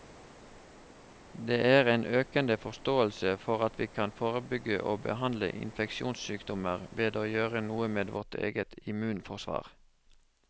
Det er en økende forståelse for at vi kan forebygge og behandle infeksjonssykdommer ved å gjøre noe med vårt eget immunforsvar.